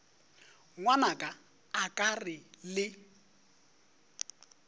ngwanaka a ke re le